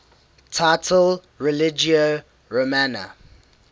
title religio romana